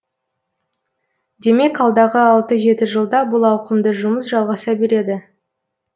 демек алдағы алты жеті жылда бұл ауқымды жұмыс жалғаса береді